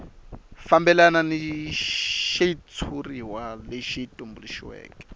fambelana ni xitshuriwa lexi tumbuluxiweke